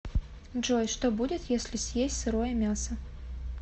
джой что будет если съесть сырое мясо